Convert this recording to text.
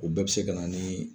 O bɛɛ bɛ se ka na nii.